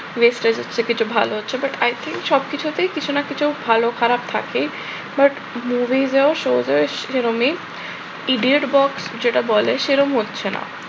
next time এ কিছু কিছু ভালো হচ্ছে but i think সবকিছুতেই কিছু না কিছু ভালো খারাপ থাকে। but movies এও show এও সেরমই। idiot box যেটা বলে সেরম হচ্ছে না।